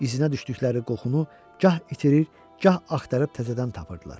İzinə düşdükləri qoxunu gah itirir, gah axtarıb təzədən tapırdılar.